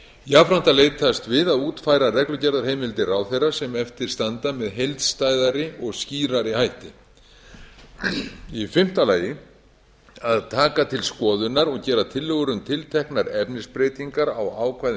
jafnframt að leitast við að útfæra reglugerðarheimildir ráðherra sem eftir standa með heildstæðari og skýrari hætti í fimmta lagi lagi að taka til skoðunar og gera tillögur um tilteknar efnisbreytingar á ákvæðum